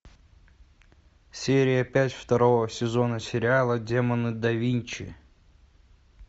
серия пять второго сезона сериала демоны да винчи